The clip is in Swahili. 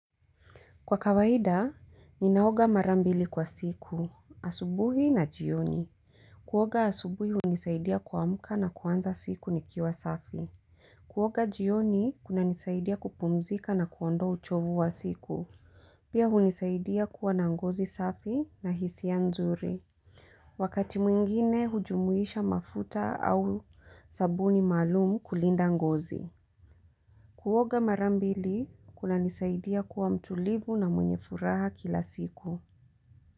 Kwa kawaida, ninaoga mara mbili kwa siku, asubuhi na jioni. Kuoga asubuhi hunisaidia kuamka na kuanza siku nikiwa safi. Kuoga jioni, kunanisaidia kupumzika na kuondoa uchovu wa siku. Pia hunisaidia kuwa na ngozi safi na hisia nzuri. Wakati mwingine, hujumuisha mafuta au sabuni maalumu kulinda ngozi. Kuoga mara mbili kunanisaidia kuwa mtulivu na mwenye furaha kila siku.